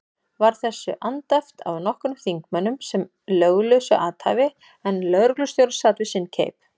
Var þessu andæft af nokkrum þingmönnum sem löglausu athæfi, en lögreglustjóri sat við sinn keip.